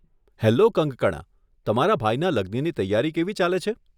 Hello Kangkana, તમારા ભાઈના લગ્નની તૈયારી કેવી ચાલે છે?